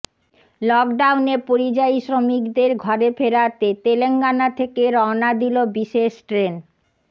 লকডাউনে পরিযায়ী শ্রমিকদের ঘরে ফেরাতে তেলেঙ্গানা থেকে রওনা দিল বিশেষ ট্রেন